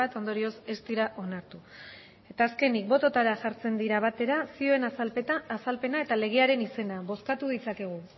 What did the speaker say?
ondorioz ez dira onartu eta azkenik bototara jartzen dira batera zioen azalpena eta legearen izena bozkatu ditzakegu